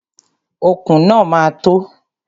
Okùn náà ma tó.